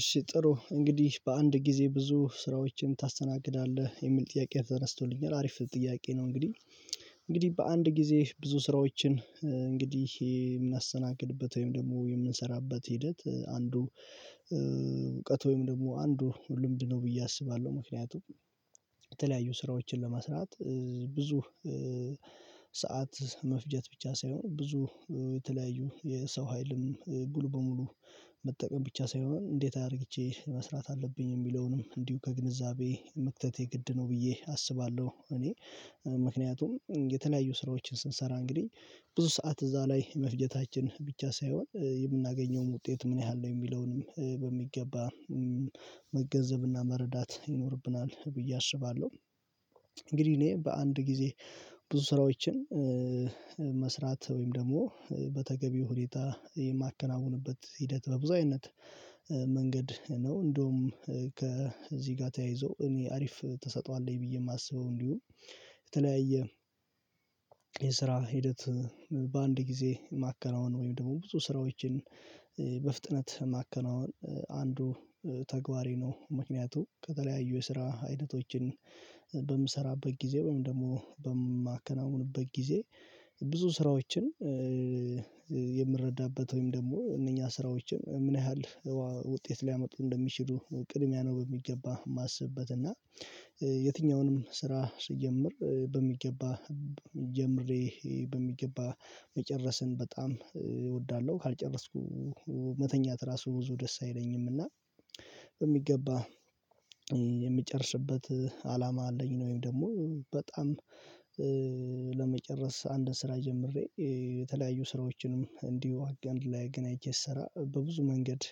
እሺ ጥሩ እንግዲህ በአንድ ጊዜ ብዙ ስራዎችን ታስተናግዳለህ የሚል ጥያቄ ተነስቶልኛል አሪፍ ጥያቄ ነው። እንግዲህ እንግዲህ በአንድ ጊዜ ብዙ ስራዎችን እንግዲህ ይሄ የምናስተናግድበት ወይም ደግሞ የምንሰራበት ሂደት አንዱ እውቀት ወይም ደግሞ አንዱ ልምድ ነው ብዬ አስባለሁ ምክንያቱም የተለያዩ ስራዎችን ለመስራት ብዙ ሰዓት መፍጀት ብቻ ሳይሆን ብዙ የተለያዩ የሰው ሀይልም ጉል በሙሉ መጠቀም ብቻ ሳይሆን እንዴት አድርግቼ መስራት አለብኝ የሚለውንም እንዲሁ ከግንዛቤ መክተቴ ግድ ነው ብዬ አስባለሁ። እኔ ምክንያቱም የተለያዩ ስራዎችን ስንሰራ እንግዲህ ብዙ ሰዓት እዛ ላይ መፍጀታችን ብቻ ሳይሆን የምናገኘውም ውጤት ምን ያህል ነው የሚለውንም በሚገባ መገንዘብና መረዳት ይኖርብናል ብዬ አስባለሁ። እንግዲህ እኔ በአንድ ጊዜ ብዙ ስራዎችን መስራት ወይም ደግሞ በተገቢው ሁኔታ የማከናውንበት ሂደት በብዙ አይነት መንገድ ነው። እንደውም ከዚህ ጋር ተያይዞ እኔ አሪፍ ተስጦ አለኝ ብዬ ማስበው እንዲሁ የተለያየ የስራ ሂደት በአንድ ጊዜ ማከናወን ወይም ደግሞ ብዙ ስራዎችን በፍጥነት ማከናወን። አንዱ ተግባሪ ነው ምክንያቱ ከተለያዩ የስራ አይነቶችን በምሰራበት ጊዜ ወይም ደግሞ በማከናውንበት ጊዜ ብዙ ስራዎችን የምረዳበት ወይም ደግሞ እነኛ ስራዎችን ምን ያህል ውጤት ሊያመጡ እንደሚችሉ ቅድሚያ ነው በሚገባ የማስብበት እና የትኛውንም ስራ ስጀምር በሚገባ ጀምሬ በሚገባ መጨረስን በጣም እወዳለሁ። ካልጨረስኩ መተኛት ራሱ ብዙ ደስ አይለኝም። እና በሚገባ የሚጨርስበት አላማ አለኝ ነው ወይም ደግሞ በጣም ለመጨረስ አንድ ስራ ጀምሬ የተለያዩ ስራዎችንም እንዲሁ አጋንድ ላይ አገናኝ ስሰራ በብዙ መንገድ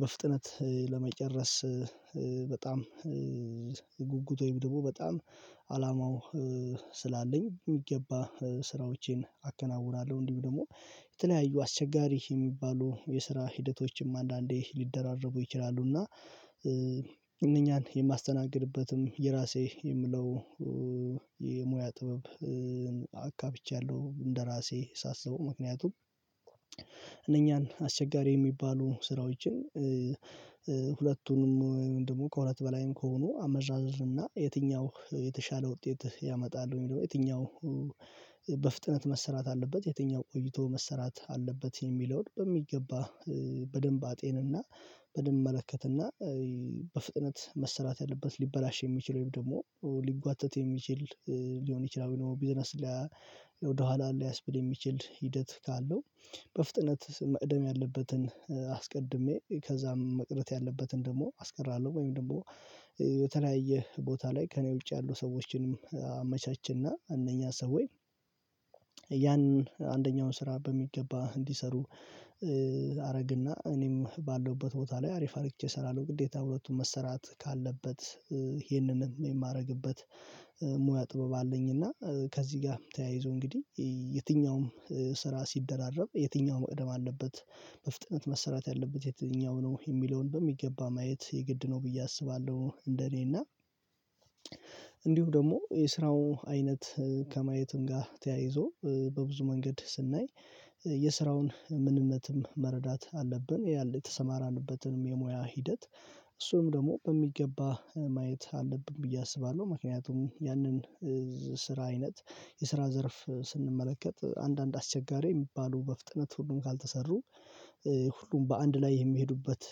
በፍጥነት ለመጨረስ በጣም ጉጉት ወይም ድቦ በጣም አላማው ስላለኝ የሚገባ ስራዎቼን አከናውናለሁ እንዲሁ ደግሞ የተለያዩ አስቸጋሪ የሚባሉ የስራ ሂደቶችም አንዳንዴ ሊደራረቡ ይችላሉ። እና እነኛን የማስተናግድበትም የራሴ የምለው የሙያ ጥበብ አካብቻለሁ እንደራሴ ሳስበው ምክንያቱም እነኛን አስቸጋሪ የሚባሉ ስራዎችን ሁለቱንም ወይም ደግሞ ከሁለት በላይም ከሆኑ አመራርርና የትኛው የተሻለ ውጤት ያመጣል የሚለው የትኛው በፍጥነት መሰራት አለበት የትኛው ቆይቶ መሰራት አለበት የሚለውን በሚገባ በደንብ አጤንና በደንብ እመለከትና በፍጥነት መሰራት ያለበት ሊበላሽ የሚችለው ደግሞ ሊጓተት የሚችል ሊሆን ይችላል። ቢዝነስ ወደ አሉ ያስብል የሚችል ሂደት ካለው በፍጥነት መቅደም ያለበትን አስቀድሜ ከዛም መቅረት ያለበትን ደግሞ አስቀራለሁ ወይም ደግሞ የተለያየ ቦታ ላይ ከእኔ ውጪ ያሉ ሰዎችንም አመቻችና እነኛ ሰው ወይ ያንን አንደኛውን ስራ በሚገባ እንዲሰሩ አደረግና እኔም ባለውበት ቦታ ላይ አሪፍ አድርጌ እሰራለሁ። ግዴታ ሁለቱም መሰራት ካለበት ይሄንን የማደርግበት ሙያ ጥበብ አለኝ። እና ከዚህ ጋር ተያይዞ እንግዲህ የትኛውም ስራ ሲደራረብ የትኛውም እድም አለበት በፍጥነት መሰረት ያለበት የትኛው ነው የሚለውን በሚገባ ማየት የግድ ነው ብዬ አስባለሁ። እንደኔ እና እንዲሁ ደግሞ የስራው አይነት ከማየትም ጋር ተያይዞ በብዙ መንገድ ስናይ የስራውን ምንነትም መረዳት አለብን ያለ የተሰማራንበትንም የሙያ ሂደት እሱም ደግሞ በሚገባ ማየት አለብን ብዬ አስባለሁ። ምክንያቱም ያንን ስራ አይነት የስራ ዘርፍ ስንመለከት አንዳንድ አስቸጋሪ የሚባሉ በፍጥነት ሁሉን ካልተሰሩ ሁሉም በአንድ ላይ የሚሄዱበት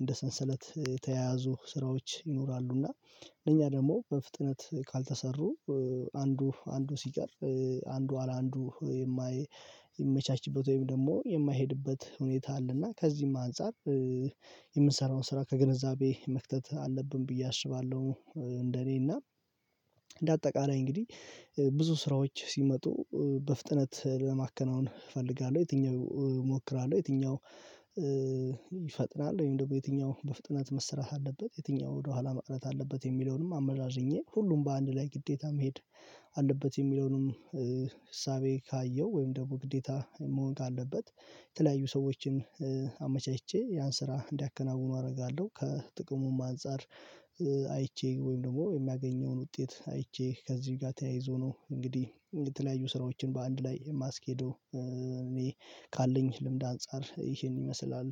እንደ ሰንሰለት የተያያዙ ስራዎች ይኖራሉ እና እኛ ደግሞ በፍጥነት ካልተሰሩ አንዱ አንዱ ሲቀር አንዱ አላንዱ የማይመቻችበት ወይም ደግሞ የማይሄድበት ሁኔታ አለና ከዚህም አንፃር የምንሰራውን ስራ ከገንዘቤ መክተት አለብን ብዬ አስባለሁ። እንደኔ እና እንደ አጠቃላይ እንግዲህ ብዙ ስራዎች ሲመጡ በፍጥነት ለማከናወን እፈልጋለሁ የትኛው እሞክራለሁ የትኛው ይፈጥናል ወይም ደግሞ የትኛው በፍጥነት መስራት አለበት የትኛው ወደኋላ መቅረት አለበት የሚለውንም አመዛዝኜ ሁሉም በአንድ ላይ ግዴታ መሄድ አለበት የሚለውንም እሳቤ ካየው ወይም ደግሞ ግዴታ መሆን ካለበት የተለያዩ ሰዎችን አመቻችቸ ያን ስራ እንዲያከናውኑ አደርጋለሁ። ከጥቅሙም አንፃር አይቼ ወይም ደግሞ የሚያገኘውን ውጤት አይቼ ከዚህ ጋር ተያይዞ ነው እንግዲህ የተለያዩ ስራዎችን በአንድ ላይ ማስከደው እኔ ካለኝ ልምድ አንፃር ይሄን ይመስላል።